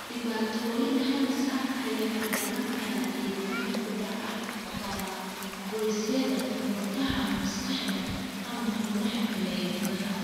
Dhibaatooyin halis ah ayaa ka dhalan kara dhiigbaxa ku dhaca kala-goysyada, murqaha, maskaxda, ama xubnaha kale ee gudaha.